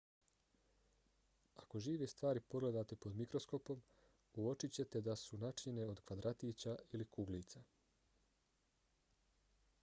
ako žive stvari pogledate pod mikroskopom uočićete da su načinjene od kvadratića ili kuglica